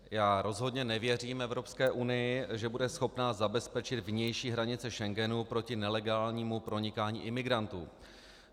Já rozhodně nevěřím Evropské unii, že bude schopna zabezpečit vnější hranice Schengenu proti nelegálnímu pronikání imigrantů.